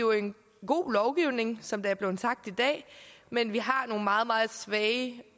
jo en god lovgivning som der er blevet sagt i dag men vi har også nogle meget meget svage